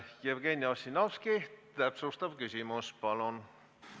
Jevgeni Ossinovski, täpsustav küsimus, palun!